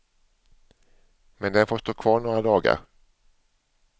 Men den får stå kvar några dagar.